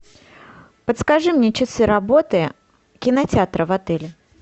подскажи мне часы работы кинотеатра в отеле